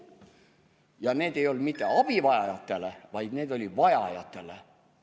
Ja need ei olnud mitte abivajajatele, vaid need olid vajajatele.